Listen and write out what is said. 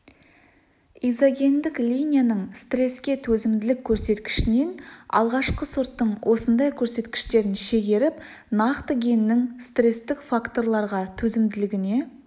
изогендік линияның стреске төзімділік көрсеткішінен алғашқы сорттың осындай көрсеткіштерін шегеріп нақты геннің стрестік факторға төзімділігіне